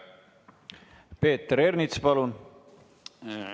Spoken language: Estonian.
Peeter Ernits, palun!